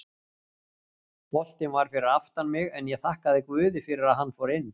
Boltinn var fyrir aftan mig en ég þakka guði að hann fór inn.